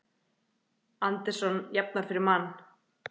Anderson jafnar fyrir Man